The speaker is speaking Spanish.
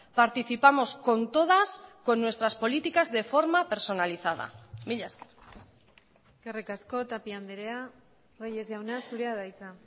participamos con todas con nuestras políticas de forma personalizada mila esker eskerrik asko tapia andrea reyes jauna zurea da hitza